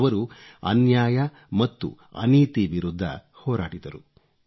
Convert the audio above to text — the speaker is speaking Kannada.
ಅವರು ಅನ್ಯಾಯ ಮತ್ತು ಅನೀತಿ ವಿರುದ್ಧ ಹೋರಾಡಿದರು